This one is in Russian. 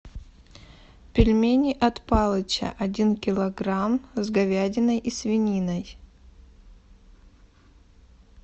пельмени от палыча один килограмм с говядиной и свининой